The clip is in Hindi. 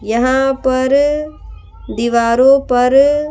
यहाँ पर दीवारों पर --